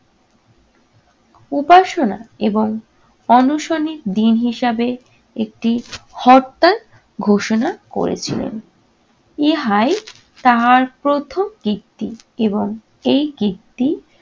উপাসনা এবং অনশনের দিন হিসাবে একটি হরতাল ঘোষণা করেছিলেন। ইহাই তাহার প্রথম কীর্তি এবং এই কীর্তি